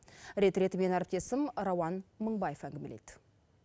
рет ретімен әріптесім рауан мынбаев әнгімелейді